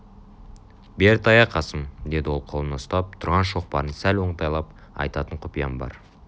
бері тая қасым деді ол оң қолына ұстап тұрған шоқпарын сәл оңтайлап айтатын құпиям бар